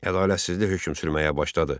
Ədalətsizlik hökm sürməyə başladı.